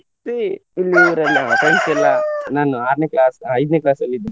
ಮತ್ತೆ friends ಎಲ್ಲ ನಾನು ಆರ್ನೆ class ಐದ್ನೆ class ಅಲ್ಲಿದ್ದ